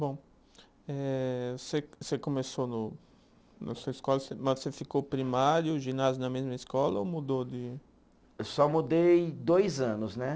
Bom, eh você você começou no na sua escola, mas você ficou primário, ginásio na mesma escola ou mudou de. Eu só mudei dois anos, né?